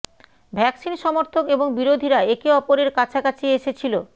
vaccine সমর্থক এবং বিরোধীরা একে অপরের কাছা কাছি এসে ছিল